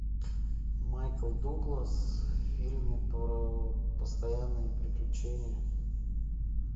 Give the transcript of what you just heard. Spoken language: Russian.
майкл дуглас в фильме про постоянные приключения